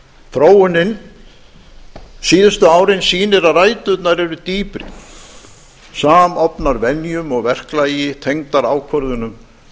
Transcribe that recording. þróunin síðustu árin sýnir að ræturnar eru dýpri samofnar venjum og verklagi tengdar ákvörðunum